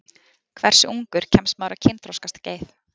Hversu ungur kemst maður á kynþroskaskeið?